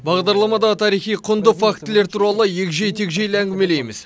бағдарламада тарихи құнды фактілер туралы егжей тегжейлі әңгімелейміз